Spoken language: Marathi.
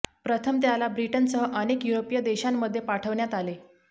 प्रथम त्याला ब्रिटनसह अनेक युरोपीय देशांमध्ये पाठवण्यात आले